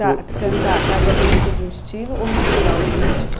Cantar cada música de um estilo ou misturar os ritmos?